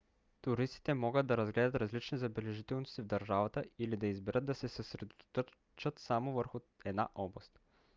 туристите могат да разгледат различни забележителности в държавата или да изберат да се съсредоточат само върху една област